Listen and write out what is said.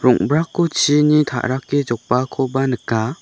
rong·brako chini ta·rake jokbaakoba nika.